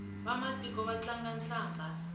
vamatiko va tlanga hlambha